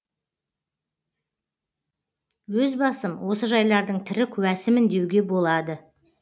өз басым осы жайлардың тірі куәсімін деуге болады